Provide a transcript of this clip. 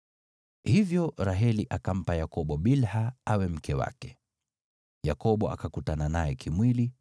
Hivyo Raheli akampa Yakobo Bilha awe mke wake. Yakobo akakutana naye kimwili,